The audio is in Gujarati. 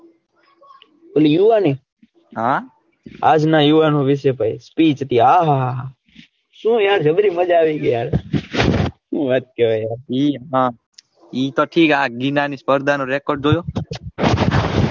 પેલી યુવાની હા આજ ના યુવાનો વિશે ભાઈ speech હતી આહાહા સુ યાર જબરી માજા આવી ગઈ યાર હું વાત કરે યાર ઈ પછી આ ઇના ની સ્પર્ધા નો record જોયો.